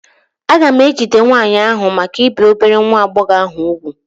A ga-ejide nwaanyị ahụ maka ibi obere nwa agbọghọ ahụ úgwù?